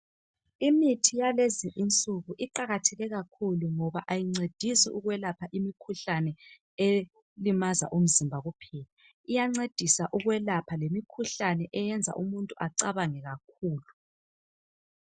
Imithi yalezi insuku iqakatheke kakhulu ngoba ayancedisi ukwelapha imikhuhlane elimaza umzimba kuphela, iyancedisa lokwelapha imikhuhlane eyenza umuntu acabange kakhulu.